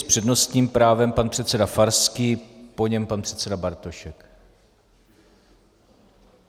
S přednostním právem pan předseda Farský, po něm pan předseda Bartošek.